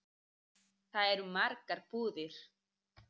Þar eru margar búðir.